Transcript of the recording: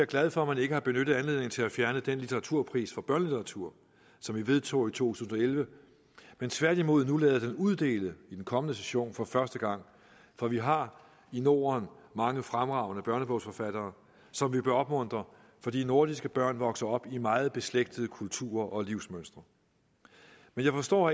glad for at man ikke har benyttet anledningen til at fjerne den litteraturpris for børnelitteratur som vi vedtog i to tusind og elleve men tværtimod nu lader den uddele i den kommende session for første gang for vi har i norden mange fremragende børnebogsforfattere som vi bør opmuntre fordi nordiske børn vokser op i meget beslægtede kulturer og livsmønstre men jeg forstår